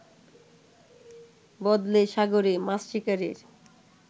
বদলে সাগরে মাছ শিকারের